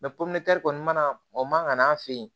porobilɛmu mana o man ka n'an fɛ yen